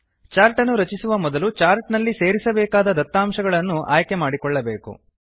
chart ಅನ್ನು ರಚಿಸುವ ಮೊದಲು ಚಾರ್ಟ್ ನಲ್ಲಿ ಸೇರಿಸಬೇಕಾದ ದತ್ತಾಂಶಗಳನ್ನು ಆಯ್ಕೆ ಮಾಡಿಕೊಳ್ಳಬೇಕು